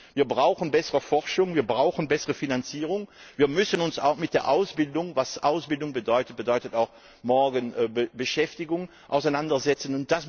Wir brauchen bessere Forschung, wir brauchen bessere Finanzierung. Wir müssen uns auch mit der Ausbildung Ausbildung bedeutet auch morgen Beschäftigung auseinandersetzen.